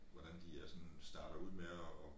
Hvordan de er sådan starter ud med at